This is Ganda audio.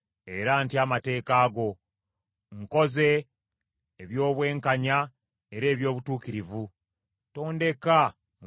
Nkoze eby’obwenkanya era eby’obutuukirivu; tondeka mu mikono gy’abo abanjooga.